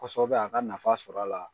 Kosɔbɛ a ka nafa sɔrɔ a la.